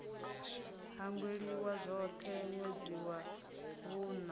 hangweliwa zwoṱhe ṅwedzi wa vhuṋa